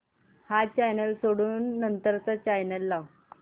हा चॅनल सोडून नंतर चा चॅनल लाव